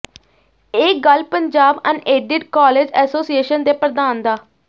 ਇਹ ਗੱਲ Punjab unaided college association ਦੇ ਪ੍ਰਧਾਨ ਡਾ